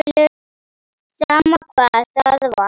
Sama hvað það var.